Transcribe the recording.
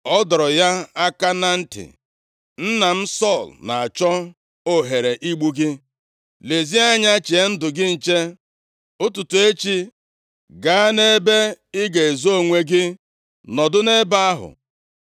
ọ dọrọ ya aka na ntị, “Nna m Sọl na-achọ ohere igbu gị. Lezie anya chee ndụ gị nche, ụtụtụ echi, gaa nʼebe ị ga-ezo onwe gị nọdụ nʼebe ahụ.